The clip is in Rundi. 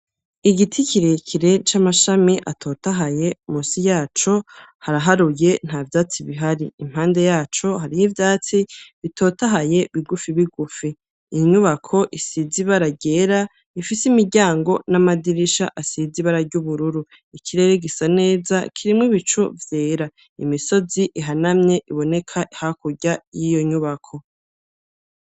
Igiti kirekire c'amashami atotahaye, musi yaco haraharuye nta vyatsi bihari, impande yaco hariho ivyatsi bitotahaye bigufi bigufi. Iyo nyubako isize ibara ryera, ifise imiryango n'amadirisha asize ibara ry'ubururu. Ikirere gisa neza kirimwo ibicu vyera, imisozi ihanamye iboneka hakurya y'iyo nyubako.